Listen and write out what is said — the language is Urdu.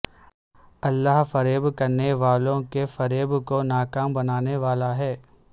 اللہ فریب کرنے والوں کے فریب کو ناکام بنانے والا ہے